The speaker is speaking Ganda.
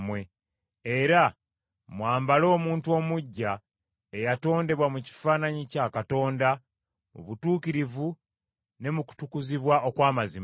era mwambale omuntu omuggya, eyatondebwa mu kifaananyi kya Katonda mu butuukirivu ne mu kutukuzibwa okw’amazima.